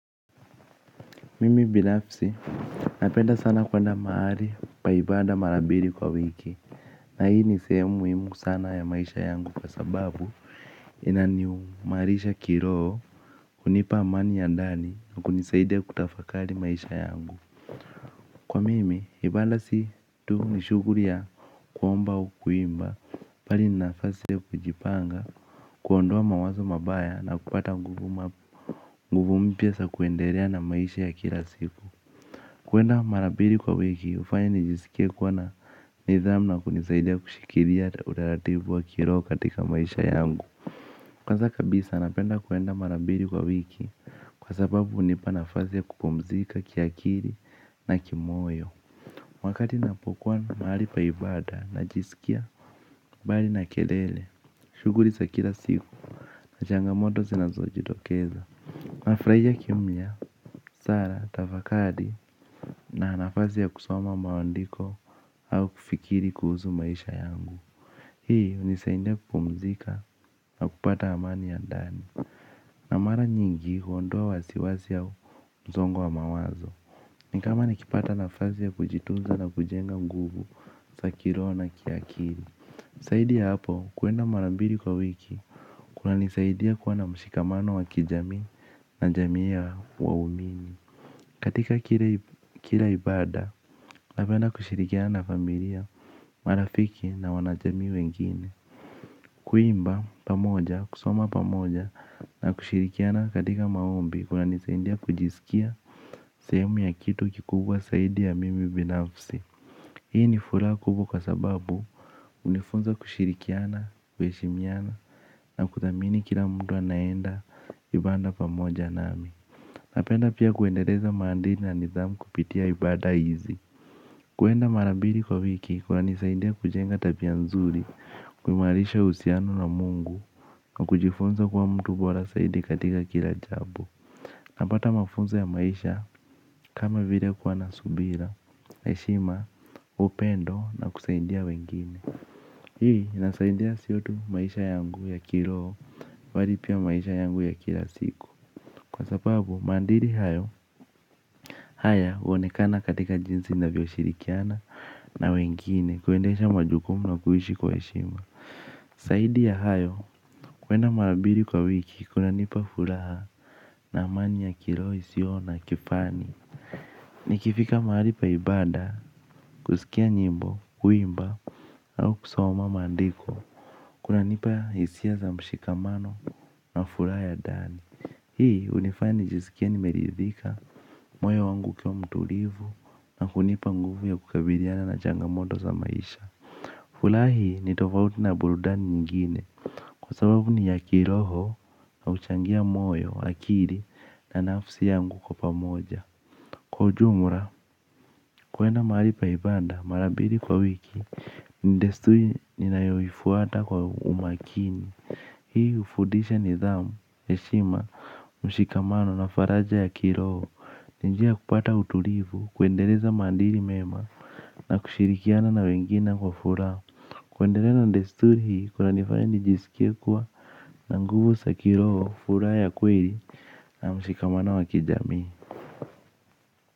Mimi binafsi, napenda sana kuenda mahali pa ibada mara mbili kwa wiki na hii ni sehemu muhimu sana ya maisha yangu kwa sababu inaniimarisha kiroho kunipa amani ya ndani na kunisaidia kutafakari maisha yangu. Kwa mimi, ibada si tu ni shughuli ya kuomba au kuimba bali ni nafasi ya kujipanga kuondoa mawazo mabaya na kupata nguvu mpya za kuendelea na maisha ya kila siku. Kuenda mara mbili kwa wiki hufanya nijisikie kuwa na nidhamu na kunisaidia kushikilia utaratibu wa kiroho katika maisha yangu. Kwanza kabisa napenda kuenda mara mbili kwa wiki kwa sababu hunipana nafasi ya kupumzika kiakili na kimoyo. Wakati ninapokua mahali pa ibada najiskia mbali na kelele. Shughuli za kila siku na changamoto zinazojitokeza nafurahia kimya, sala, tafakari na nafasi ya kusoma maandiko au kufikiri kuhusu maisha yangu. Hii hunisaidia kupumzika na kupata amani ya ndani na mara nyingi huondoa wasiwasi au msongo wa mawazo. Ni kama nikipata nafasi ya kujitunza na kujenga nguvu za kiroho na kiakili. Zaidi ya hapo kuenda mara mbili kwa wiki kunanisaidia kuwa na mshikamano wa kijami na jamii ya waumini. Katika kila ibada napenda kushirikiana na familia marafiki na wanajamii wengine. Kuimba pamoja kusoma pamoja na kushirikiana katika maombi kunanisaidia kujiskia sehemu ya kitu kikubwa zaidi ya mimi binafsi. Hii ni furaha kubwa kwa sababu hunifunza kushirikiana kuheshimiana na kuthamini kila mtu anayeenda ibada pamoja nami. Napenda pia kuendeleza maadili na nidhamu kupitia ibada hizi. Kuenda mara mbili kwa wiki kunanisaidia kujenga tabia nzuri. Kuimarisha uhusiano na mungu na kujifunza kwa mtu bora zaidi katika kila jambo napata mafunzo ya maisha kama vile kuwa na subira heshima, upendo na kusaidia wengine. Hii, inasaidia sio tu maisha yangu ya kiroho bali pia maisha yangu ya kila siku kwa sababu, maadili hayo haya huonekana katika jinsi ninavyoshirikiana na wengine kuendesha majukumu na kuishi kwa heshima. Zaidi ya hayo kuenda mara mbili kwa wiki kunanipa furaha na amani ya kiroho isiyo na kifani. Nikifika mahali pa ibada kusikia nyimbo kuimba au kusoma maandiko kunanipa hisia za mshikamano na furaha ya ndani. Hii hunifanya nijiskie nimeridhika, moyo wangu ukiwa mtulivu na kunipa nguvu ya kukabiliana na changamoto za maisha. Furahi ni tofauti na burudani nyingine, kwa sababu ni ya kiroho na huchangia moyo, akili na nafsi yangu kwa pamoja. Kwa ujumla, kuenda mahali pa ibada, mara mbili kwa wiki, ni desturi ninayoifuata kwa umakini, hii hufundisha nidhamu, heshima. Mshikamano na faraja ya kiroho ni njia kupata utulivu, kuendeleza maadili mema na kushirikiana na wengine kwa furaha kuendelea na desturi hii kunanifanya nijiskie kuwa na nguvu za kiroho, furaha ya kweli na mshikamano wa kijamii.